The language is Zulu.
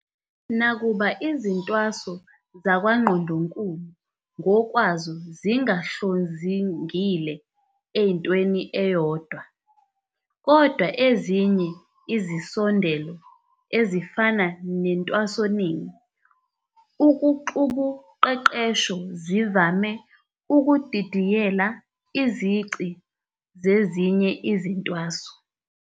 Nakuba izintwaso zakwaNgqondonkulu ngokwazo zingahlozingile entweni eyodwa, Kodwa ezinye izisondelo ezifana nentwasoningi, ukuxubuqeqesho zivame ukudidiyela izici zezinye izintwaso.